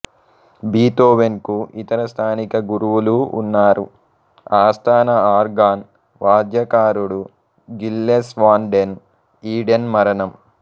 Beethoven కు ఇతర స్థానిక గురువులూ ఉన్నారు ఆస్థాన ఆర్గాన్ వాద్యకారుడు గిల్లెస్ వాన్ డెన్ ఈడెన్ మరణం